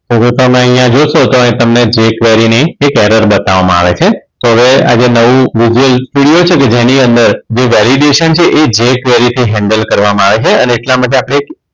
તમે અહીંયા જોશો તો અહીં તમને જે query ની એક error બતાવવામાં આવે છે તો હવે આજે નવું vision video છે જેની અંદર validation છે એ જે query થી handle કરવામાં આવે છે અને એટલા માટે આપણે